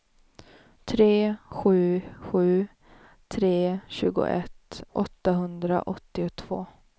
tre sju sju tre tjugoett åttahundraåttiotvå